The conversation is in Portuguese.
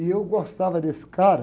E eu gostava desse cara.